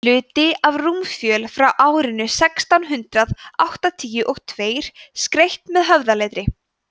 hluti af rúmfjöl frá árinu sextán hundrað áttatíu og tveir skreytt með höfðaletri